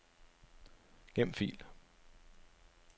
Gem fil.